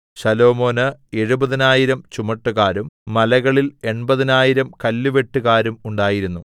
ശലോമോന് എഴുപതിനായിരം ചുമട്ടുകാരും മലകളിൽ എൺപതിനായിരം കല്ലുവെട്ടുകാരും ഉണ്ടായിരുന്നു